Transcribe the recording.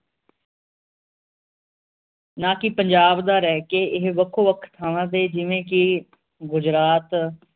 ਨਾ ਕਿ ਪੰਜਾਬ ਦਾ ਰਹਿ ਕੇ ਇਹ ਵੱਖੋ ਵੱਖ ਥਾਵਾਂ ਤੇ ਜਿਵੇ ਕਿ ਗੁਜਰਾਤ